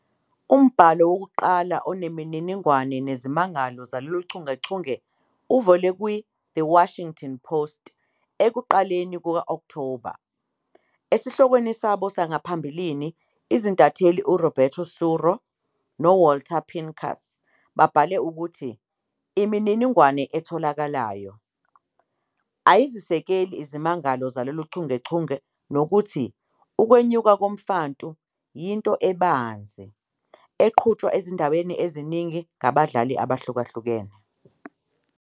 Umbhalo wokuqala onemininingwane ngezimangalo zalolu chungechunge uvele "kwiThe Washington Post" ekuqaleni kuka-Okthoba. Esihlokweni sabo sangaphambili, izintatheli uRoberto Suro noWalter Pincus babhale ukuthi "imininingwane etholakalayo" ayizisekeli izimangalo zalolu chungechunge nokuthi "ukwenyuka komfantu" "yinto ebanzi" eqhutshwa ezindaweni eziningi ngabadlali abahlukahlukene.